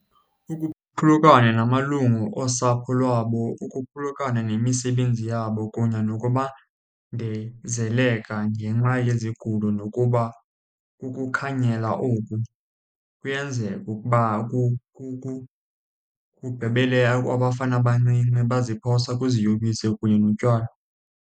Ukuphulukana namalungu osapho lwabo, ukuphulukana nemisebenzi yabo, kunye nokubandezeleka ngenxa yezigulo nokuba kukukhanyela oku kuyenzeka ukuba kugqibele abafana abancinci baziphosa kwiziyobisi kunye notywala.